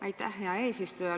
Aitäh, hea eesistuja!